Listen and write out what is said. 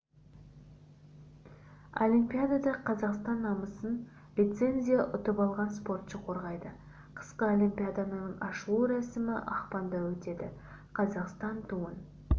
олимпиадада қазақстан намысын лицензия ұтып алған спортшы қорғайды қысқы олимпиаданың ашылу рәсімі ақпанда өтеді қазақстан туын